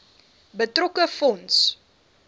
betrokke fonds